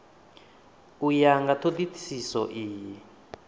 u ya nga thodisiso iyi